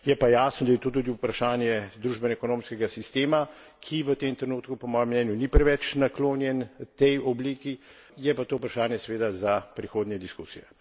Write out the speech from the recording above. Je pa jasno, da je to tudi vprašanje družbenoekonomskega sistema, ki v tem trenutku po mojem mnenju ni preveč naklonjen tej obliki, je pa to vprašanje seveda za prihodnje diskusije.